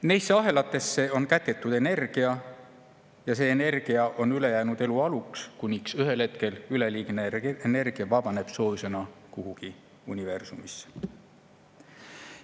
Neisse ahelatesse on kätketud energia ja see energia on ülejäänud elu alus, kuniks ühel hetkel üleliigne energia vabaneb soojusena kuhugi universumisse.